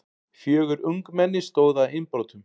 Fjögur ungmenni stóðu að innbrotum